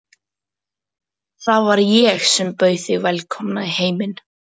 Það var ég sem bauð þig velkomna í heiminn.